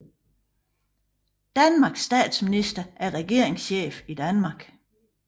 Danmarks statsminister er regeringschef i Danmark